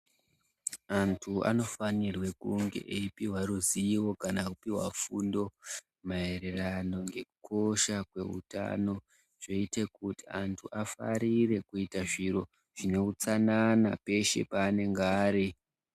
Antu anofanirwe kunge eipihwa ruziwo kana kupiwa fundo maererano ngekukosha kweutano zvoite kuti angu afarire kuita zviro zveutsanana peshe paanenga ari.